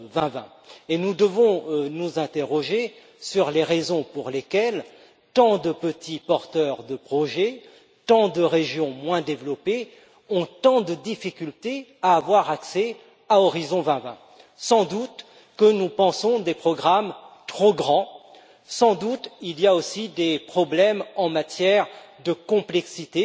2020. Nous devons nous interroger sur les raisons pour lesquelles tant de petits porteurs de projets et de régions moins développées ont tant de difficultés à avoir accès à Horizon 2020. Sans doute pensons nous des programmes trop grands, sans doute y a-t-il aussi des problèmes en matière de complexité.